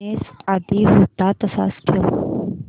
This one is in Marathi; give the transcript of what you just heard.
ब्राईटनेस आधी होता तसाच ठेव